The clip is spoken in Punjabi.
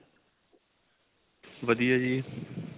ਵਧੀਆ ਜ਼ੀ